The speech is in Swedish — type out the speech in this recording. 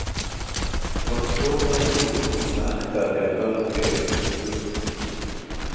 Det var svårt att tro på så märkvärdiga företeelser. punkt